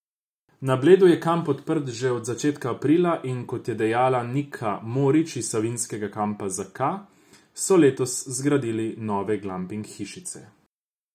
Na Bledu je kamp odprt že od začetka aprila, in kot je dejala Nika Morič iz Savinega kampa Zaka, so letos zgradili nove glamping hišice.